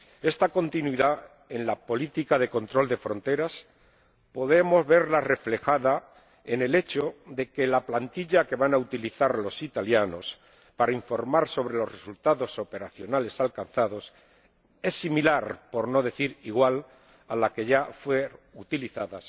Esta continuidad en la política de control de fronteras podemos verla reflejada en el hecho de que la plantilla que van a utilizar los italianos para informar sobre los resultados operacionales alcanzados es similar, por no decir igual, a la que ya fue utilizada